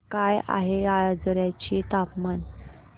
काय आहे आजर्याचे तापमान